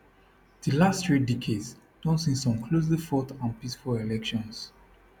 di last three decades don see some closely fought and peaceful elections